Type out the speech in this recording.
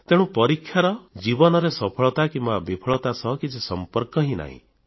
ତେଣୁ ଜୀବନରେ ସଫଳତା କିମ୍ବା ବିଫଳତା ସହ ପରୀକ୍ଷାର କିଛି ସମ୍ପର୍କ ନାହିଁ